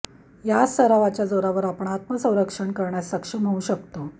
याच सरावाच्या जोरावर आपण आत्मसंरक्षण करण्यास सक्षम होऊ शकतो